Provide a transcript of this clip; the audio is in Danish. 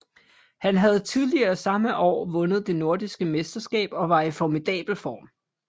Han havde tidligere samme år vundet det nordiske mesterskab og var i formidabel form